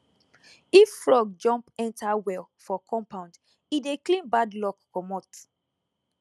if frog jump enter well for compound e dey clean bad luck comot